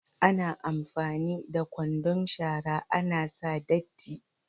Ana amfani da kwandon shara ana sa datti.